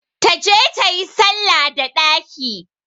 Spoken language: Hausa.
Ta je tayi salla da ɗaki!